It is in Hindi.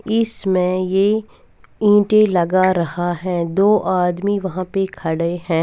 इसमें ये ईंटे लगा रहा है दो आदमी वहाँ पे खड़े है।